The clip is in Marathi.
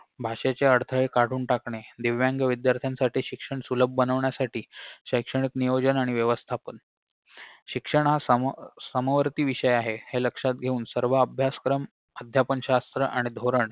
भाषेचे अडथळे काढून टाकणे दिव्यांग विद्यार्थ्यांसाठी शिक्षण सुलभ बनवण्यासाठी शैक्षणिक नियोजन आणि व्यवस्थापन शिक्षणासमोर समवर्ती विषय आहे हे लक्षात घेऊन सर्व अभ्यासक्रम अध्यापनशास्त्र आणि धोरण